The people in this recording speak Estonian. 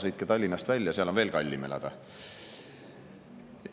Sõitke Tallinnast välja, seal on veel kallim elada!